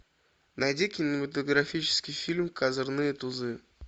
найди кинематографический фильм козырные тузы